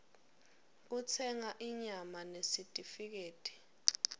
yekutsenga inyama nesitifiketi